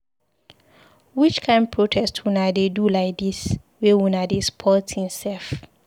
Which kind protest una dey do lai dis wey una dey spoil tins sef.